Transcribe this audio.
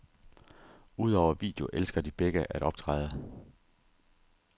Udover video elsker de begge at optræde.